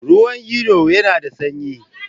Ruwan iyo yana da sanyi?